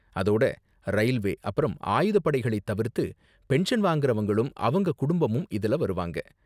அதோட ரயில்வே அப்பறம் ஆயுதப் படைகளைத் தவிர்த்து பென்ஷன் வாங்கறவங்களும் அவங்க குடும்பமும் இதுல வருவாங்க.